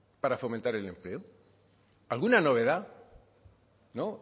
para fomentar el empleo alguna novedad no